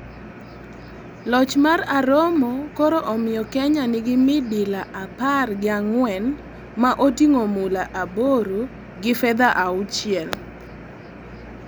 Loch mar Aromo koro omiyo Kenya nigi midila apar gi ang'wen ma oting'o mula aboro gi fedha auchiel.